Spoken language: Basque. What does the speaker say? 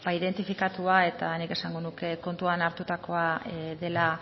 identifikatua eta nik esango nuke kontutan hartutakoa dela